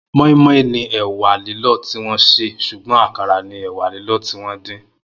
Moi moi ni ẹ̀wá lìlọ tiwọn sé ṣúgbọ̀n àkárá ni ẹ̀wá lìlọ tiwọn din